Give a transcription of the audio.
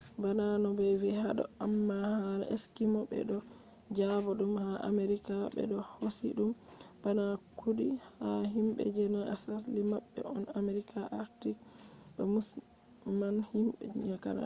bana no be vi hado amma hala eskimo” be do jaba dum ha america be do hosi dum bana kudi ha himbe je na asli mabbe on america arctic ba musamman himbe canada